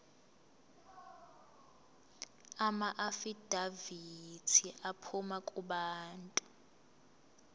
amaafidavithi aphuma kubantu